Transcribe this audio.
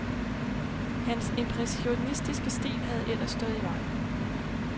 Hans impressionistiske stil havde ellers stået i vejen.